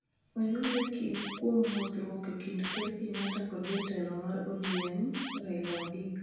Onyuole kuom mosruok e kind Ker Kenyatta kod jatelo mar ODM, Raila Odinga,